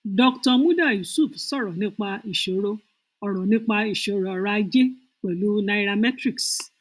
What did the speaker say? dr muda yusuf sọrọ nípa ìṣòro ọrọ nípa ìṣòro ọrọ ajé pẹlú nairametrics